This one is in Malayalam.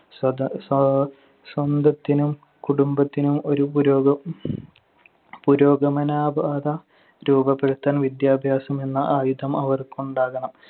സ്വത~ സൊ~ സ്വന്തത്തിനും കുടുംബത്തിനും ഒരു പുരോ~ പുരോഗമനാ പാത രൂപപ്പെടുത്താൻ വിദ്യാഭ്യാസമെന്ന ആയുധം അവർക്കുണ്ടാകണം.